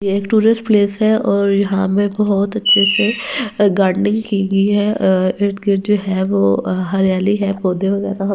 ये एक tourist place हैऔर यहां में बहुत अच्छे से गार्डनिंग की गई है इर्दगिर्द जो है वो हरियाली है पौधे वगैरह --